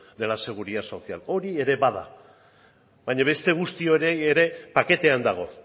de la seguridad social hori ere bada baina beste guzti hori ere paketean dago